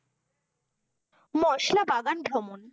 মশলা বাগান ভ্রমণ।